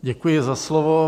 Děkuji za slovo.